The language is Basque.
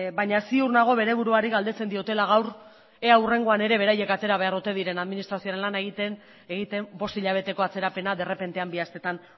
baina ziur nago bere buruari galdetzen diotela gaur ea hurrengoan ere beraiek atera behar ote diren administrazioaren lana egiten bost hilabeteko atzerapena derrepentean bi hasteetan